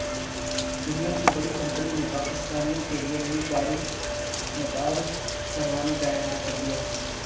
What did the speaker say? دنیا کی بڑی کمپنی نے پاکستانیوں کیلئے نئی گاڑی متعارف کروانے کا اعلان کردیا